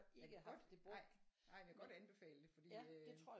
Men jeg kan godt ej men jeg kan godt anbefale det fordi øh